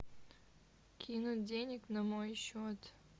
кинуть денег на мой счет